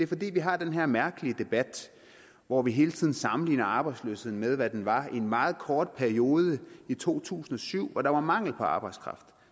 fordi vi har den her mærkelige debat hvor vi hele tiden sammenligner arbejdsløsheden med hvad den var i en meget kort periode i to tusind og syv hvor der var mangel på arbejdskraft